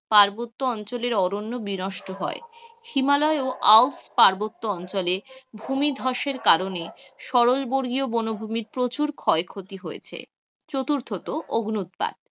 পার্বত্য অঞ্চলের অরণ্য বিনষ্ট হয়, হিমালয়ের ও আল্পস পার্বত্য অঞ্চলে ভূমি ধ্বসের কারণে সরল বর্গীয় বনভূমির প্রচুর ক্ষয়ক্ষতি হয়েছে, চতুর্থত অগ্ন্যুৎপাত.